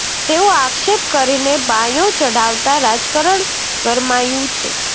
તેવો આક્ષેપ કરીને બાંયો ચઢાવતા રાજકારણ ગરમાયંુ છે